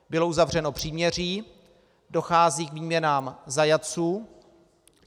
Bylo uzavřeno příměří, dochází k výměnám zajatců.